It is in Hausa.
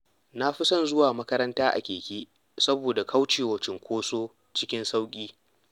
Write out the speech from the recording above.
Na fi son zuwa makaranta a keke, saboda kaucewa cunkoso cikin sauƙi.